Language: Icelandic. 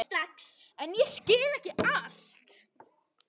En ég skil ekki allt.